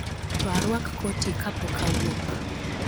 To arwak koti ka pok awuok